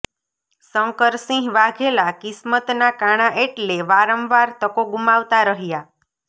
શંકરસિંહ વાઘેલા કિસ્મતના કાણા એટલે વારંવાર તકો ગુમાવતા રહ્યા